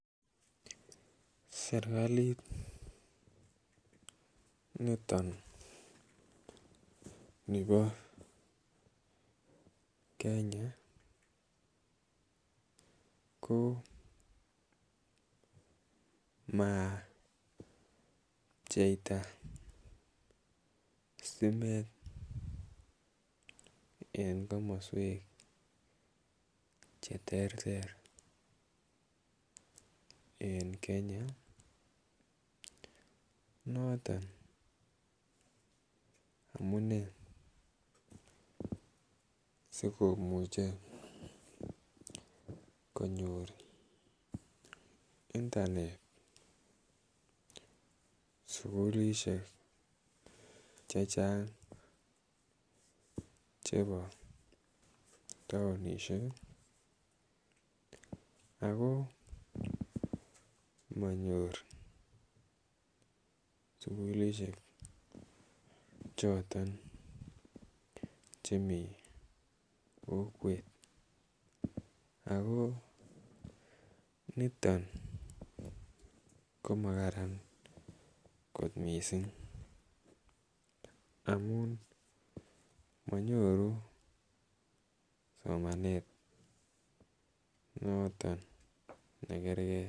Serikalit noton nebo Kenya ko mapcheita stimet en komoswek che terter en Kenya. Noton amunee sikomuche konyor internet sukulishek chechang' chebo taonishek ako manyor sukulishek choton chemi kokwet. Ako niton komakaran kot mising' amun manyoru somanet noton ne kerkei.